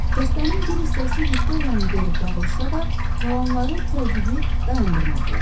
Dəstənin bir hissəsi Viktoriyanı görüb dağılışsa da, qalanları təqibi dayandırmadılar.